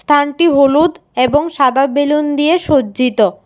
স্থানটি হলুদ এবং সাদা বেলুন দিয়ে সজ্জিত।